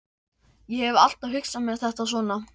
Ég hef alltaf hugsað mér þetta svona.